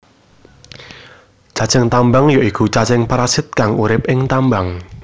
Cacing tambang ya iku cacing parasit kang urip ing tambang